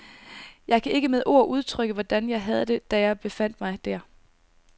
Jeg kan ikke med ord udtrykke, hvordan jeg havde det, da jeg befandt mig der.